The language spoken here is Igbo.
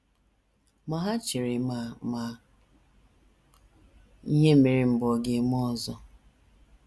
Ma ha chere ma ma ihe mere mbụ ọ̀ ga - eme ọzọ.